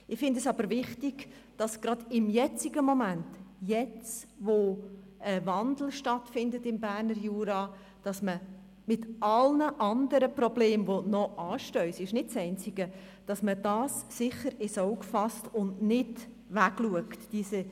Ich halte es aber für wichtig, dass man das gerade im jetzigen Moment, jetzt, da im Berner Jura ein Wandel stattfindet, mit allen anderen anstehenden Problemen – es ist nicht das einzige – sicher ins Auge fasst, und nicht darüber hinwegschaut.